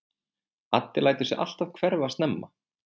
Addi lætur sig alltaf hverfa snemma.